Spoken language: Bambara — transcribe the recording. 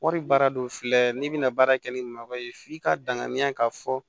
Wari baara do filɛ n'i bɛna baara kɛ ni malo ye f'i ka danganiya k'a fɔ